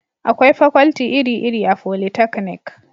akwai fakwalti iri iri a folitaknik